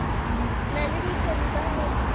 na le bokgoni ba ho